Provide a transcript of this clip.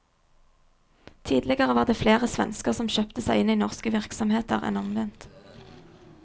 Tidligere var det flere svensker som kjøpte seg inn i norske virksomheter enn omvendt.